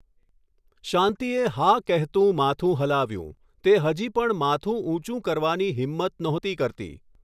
શાંતીએ હા કહેતું માથું હલાવ્યુ, તે હજી પણ માથું ઊંચું કરવાની હિમ્મત નહોતી કરતી.